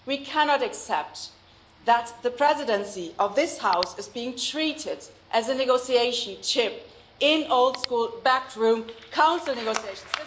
We cannot accept that the Presidency of this House is being treated as a bargaining chip in old school backroom Council negotiations.